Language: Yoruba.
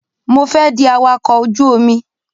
Mo fẹ́ di awakọ̀ ojú omi.